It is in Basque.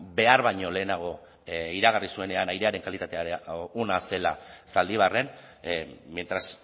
behar baino lehenago iragarri zuenean airearen kalitatea ona zela zaldibarren mientras